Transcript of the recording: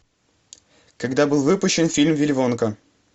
когда был выпущен фильм вилли вонка